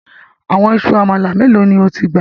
Àwọn ìṣù amala melo ni o ti gba?